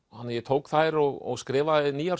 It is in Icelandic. þannig að ég tók þær og skrifaði nýjar